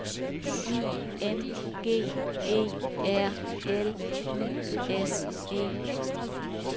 I N G E R L I S E